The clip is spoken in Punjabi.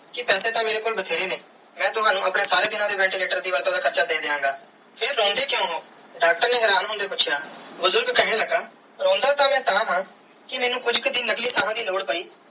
ਕੇ ਪੈਸੇ ਤੇ ਮੇਰੇ ਕੋਲ ਬੈਤੇਰੇ ਨੇ ਮੈਂ ਤਵਣੁ ਆਪਣੇ ਸਾਰੇ ਦੀਨਾ ਦੇ ventilator r ਦਾ ਵੱਧ ਤੂੰ ਵੱਧ ਹਾਰਚਾ ਦੇ ਦੀਆ ਗਏ ਫਿਰ ਰੋਂਦੇ ਕ੍ਯੂਂ ਹੋ ਡਾਕਟਰ ਨੇ ਹੈਰਾਨ ਹੋਂਦਿਆ ਪੂਛਿਆ ਬੁਜ਼ਰਗ ਕੇਹਨ ਲਗਾ ਹੋਂਦ ਤੇ ਮੈਂ ਤਹਾ ਕੇ ਕੁਛ ਕਿ ਦਿਨ ਨਕਲੀ ਸਾਹ ਦੀ ਲੋੜ ਪੈ.